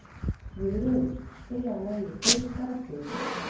Guðröður, spilaðu lagið „Þig bara þig“.